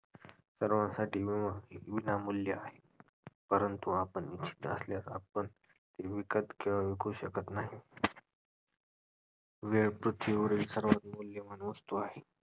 सर्वांसाठी एक विनामूल्य आहे. परंतु आपण इच्छीत असल्या का आपण ती विकत किंवा विकू शकत नाही. वेळ पृथ्वीवरील सर्वात मौल्यवान वस्तू आहे.